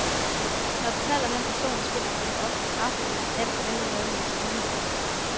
Når du taler med en person i spillet, skal du ofte træffe et valg, nemlig hvad du vil sige.